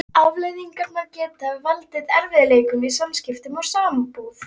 Afleiðingarnar geta valdið erfiðleikum í samskiptum og sambúð.